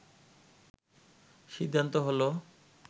সিদ্ধান্ত হলো